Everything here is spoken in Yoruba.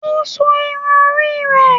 Ó so irun orí rẹ̀